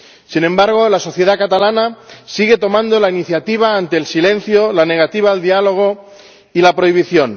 Sin embargo, la sociedad catalana sigue tomando la iniciativa ante el silencio, la negativa al diálogo y la prohibición.